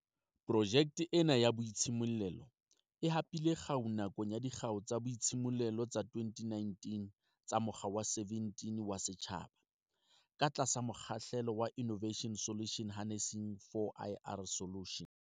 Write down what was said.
Projeke ena ya boitshimollelo e hapile kgau nakong ya Dikgau tsa Boitshimollelo tsa 2019 tsa Mokga wa 17 wa Setjhaba, ka tlasa mokgahlelo wa Innova tions Harnessing 4IR Solutions.